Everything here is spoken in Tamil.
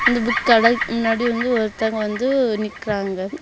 இந்த புக் கடைக்கு முன்னாடி வந்து ஒருத்தங்க வந்து நிக்கிறாங்க.